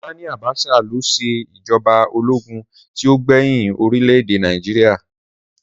Sání Àbásà lo se ìjọba ológun tí o gbẹhin orílẹ̀-èdè Nàìjíríà.